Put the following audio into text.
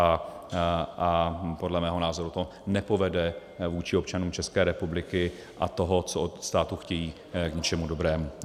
A podle mého názoru to nepovede vůči občanům České republiky a toho, co od státu chtějí, k ničemu dobrému.